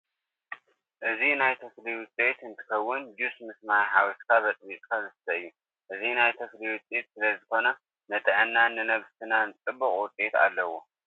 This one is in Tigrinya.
እዚ ናይተክሊ ውፅኢት እንትከውን ጁስ ምስ ማይ ሓዊስካ በፅቢዝካ ዝስተ እዩ። እዚ ናይ ተክሊ ውፅኢት ስለ ዝኮነ ንጥዕናናን ንነብስናን ፅቡቅ ውፅኢት ኣለዎ።